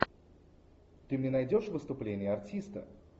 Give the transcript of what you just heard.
ты мне найдешь выступление артиста